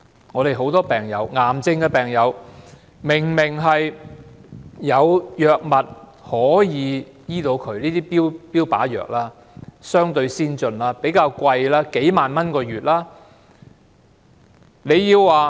我們有很多癌症病友，明明有可以醫治他們的藥物，這些標靶藥相對先進，但比較昂貴，每月要花數萬元。